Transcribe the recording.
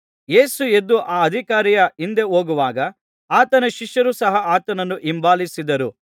ಯೇಸು ಎದ್ದು ಆ ಅಧಿಕಾರಿಯ ಹಿಂದೆ ಹೋಗುವಾಗ ಆತನ ಶಿಷ್ಯರು ಸಹ ಆತನನ್ನು ಹಿಂಬಾಲಿಸಿದರು